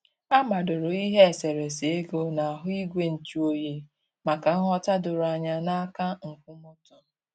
A madoro ihe eserésé égò n'ahụ igwe nju oyi maka nghọ̀ta doro anya na aka nkwụmọtọ.